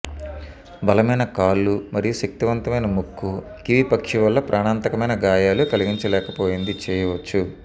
బలమైన కాళ్ళు మరియు శక్తివంతమైన ముక్కు కివి పక్షి వల్ల ప్రాణాంతకమైన గాయాలు కలిగించలేకపోయింది చేయవచ్చు